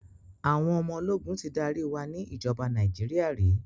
Àwọn ọmọ ológun ti darí wa ni ìjọba Nàíjíríà rí.